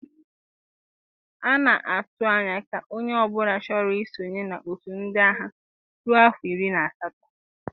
A na-atụ anya ka onye ọ bụla chọro i sonye na-otu ndị agha ruọ afọ iri na asatọ.